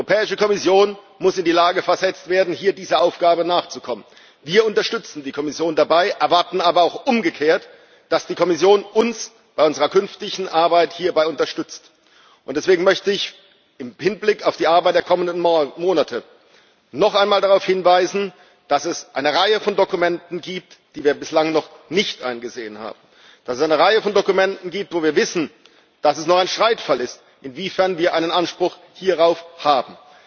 Die Europäische Kommission muss in die Lage versetzt werden, dieser Aufgabe nachzukommen. Wir unterstützen die Kommission dabei, erwarten aber auch umgekehrt, dass die Kommission uns bei unserer künftigen Arbeit hierzu unterstützt. Deswegen möchte ich im Hinblick auf die Arbeit der kommenden Monate noch einmal darauf hinweisen, dass es eine Reihe von Dokumenten gibt, die wir bislang noch nicht eingesehen haben, dass es eine Reihe von Dokumenten gibt, wo wir wissen, dass es noch ein Streitfall ist, inwiefern wir einen Anspruch hierauf haben.